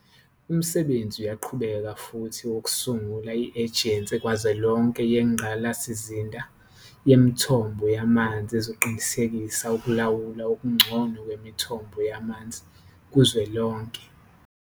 Umsebenzi uyaqhubeka futhi wokusungula i-Ejensi Kazwelonke Yengqa lasizinda Yemithombo Yamanzi ezoqinisekisa ukulawulwa okungcono kwemithombo yamanzi kuzwelonke.